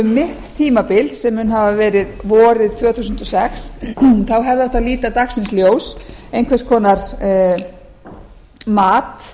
um mitt tímabil sem mun hafa verið vorið tvö þúsund og sex hefði átt að líta dagsins ljós einhvers konar mat